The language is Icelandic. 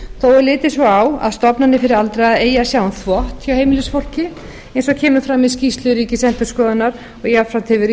er litið svo á að stofnanir fyrir aldraða eigi að sjá um þvott hjá heimilisfólki eins og kemur fram í skýrslu ríkisendurskoðunar og jafnframt hefur verið